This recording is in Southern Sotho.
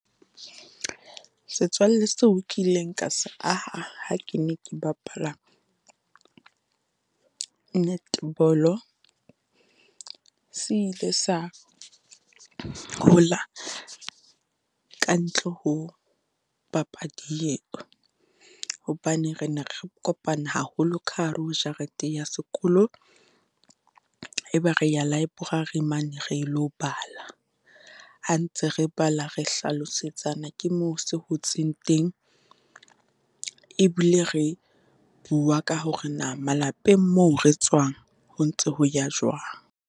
Setswalle seo ke ileng ka se aha ha ke ne ke bapala netball-o, se ile sa hola ka ntle ho papadi eo, hobane re ne re kopana haholo ka hare ho jarete ya sekolo. E be re ya library mane re lo bala, ha ntse re bala re hlalosetsana, ke moo se hotseng teng. E bile re bua ka hore na malapeng moo re tswang, ho ntso ho ya jwang?